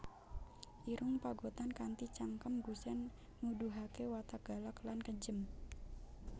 Irung Pagotan kanthi cangkem gusèn nuduhaké watak galak lan kejem